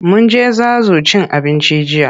Mun je Zazu cin abinci jiya.